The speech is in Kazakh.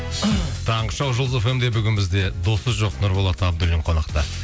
таңғы шоу жұлдыз фм де бүгін бізде досы жоқ нұрболат абдуллин қонақта